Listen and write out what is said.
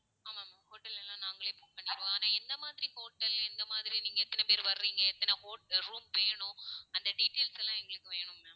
ஆமா ma'am hotel எல்லாம் நாங்களே book பண்ணிருவோம். ஆனா எந்த மாதிரி hotel, எந்த மாதிரி நீங்க எத்தனை பேர் வர்றீங்க, எத்தனை bed~room வேணும்? அந்த details எல்லாம் எங்களுக்கு வேணும் ma'am